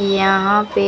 यहां पे